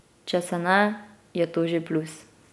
Če se ne, je to že plus.